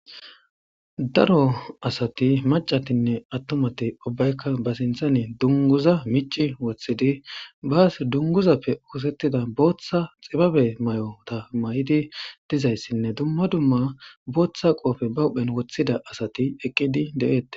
daro asati macatinne attumati ubbaykka ba sinthani dunguza mici woththidi baas dunguzappe oosettida booththa xibabe may7ota may7idi dizayssinne dumma dumma booththa qoofe ba wudhphen woththida asati eqqidi de7eette